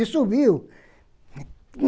E subiu.